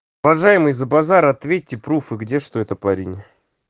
уважаемый за базар ответьте пруфы где что это парень